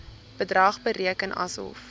bedrag bereken asof